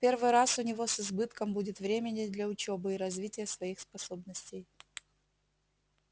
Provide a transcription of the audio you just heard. в первый раз у него с избытком будет времени для учёбы и развития своих способностей